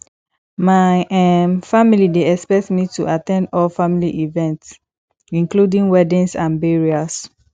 my um family dey expect me to at ten d all family events including weddings and burials